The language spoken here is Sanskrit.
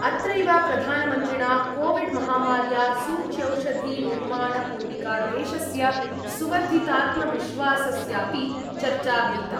अत्रैव प्रधानमन्त्रिणा कोविड्महामार्या सूच्यौषधिनिर्माणपूर्विका देशस्य सुवर्धितात्मविश्वासस्यापि चर्चा विहिता।